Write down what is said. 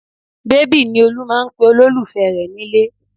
Bébì ni Olú ń pe olólùfẹ́ rẹ̀ nílé